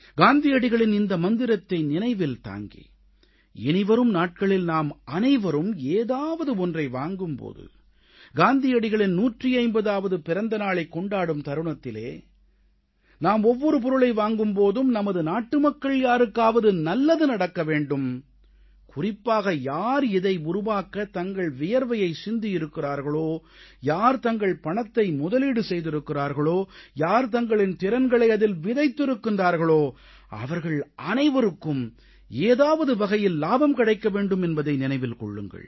காந்தியடிகளின் இந்த மந்திரத்தை நினைவில் தாங்கி இனிவரும் நாட்களில் நாம் அனைவரும் ஏதாவது வாங்கும் போது காந்தியடிகளின் 150ஆவது பிறந்த நாளைக் கொண்டாடும் தருணத்தில் நாம் ஒவ்வொரு பொருளை வாங்கும் போதும் நமது நாட்டுமக்கள் யாருக்காவது நல்லது நடக்க வேண்டும் குறிப்பாக யார் இதை உருவாக்க தங்கள் வியர்வையை சிந்தியிருக்கிறார்களோ யார் தங்கள் பணத்தை முதலீடு செய்திருக்கிறார்களோ யார் தங்களின் திறன்களை அதில் விதைத்திருக்கிறார்களோ அவர்கள் அனைவருக்கும் ஏதாவது வகையில் இலாபம் கிடைக்க வேண்டும் என்பதை நினைவில் கொள்ளுங்கள்